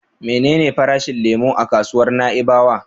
Menene farashin lemo a kasuwar Na'ibawa?